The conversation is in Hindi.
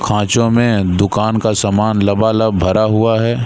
खाँचो में दुकान का सामान लबा-लब भरा हुआ है।